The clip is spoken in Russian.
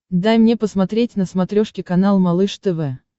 дай мне посмотреть на смотрешке канал малыш тв